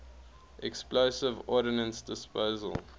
explosive ordnance disposal